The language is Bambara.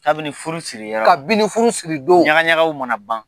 Kabini furu siri yɔrɔ, ka binni furu siri don , ɲaga ɲagaw mana ban.